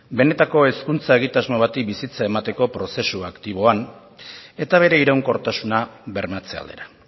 benetako hezkuntza egitasmo bati bizitza emateko prozesu aktiboan eta bere iraunkortasuna bermatze aldera